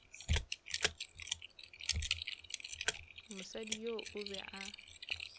mosadi yoo o be a